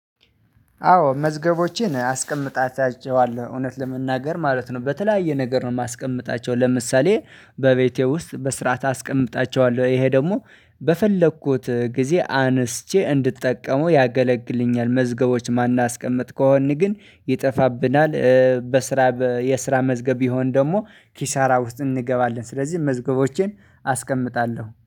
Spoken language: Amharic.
አዎ መዝገቦቼን አስቀምጣቸዋለሁ እውነት ለመናገር ማለት ነው በተለያየ ነገር ነው። ማስቀምጣቸው ለምሳሌ በቤቴ ውስጥ በስረአት አስቀምጣቸዋለሁ ይሄ ደግሞ በፈለኩት ጊዜ አንስቼ እንድጠቀመው ያገለግልኛል። መዝገቦች ማናስቀምጥ ከሆንን ግን ይጠፋብናል። በስራ የስራ መዝገብ ቢሆን ደግሞ ኪሳራ ውስጥ እንገባለን። ስለዚህ መዝገቦቼን አስቀምጣለሁ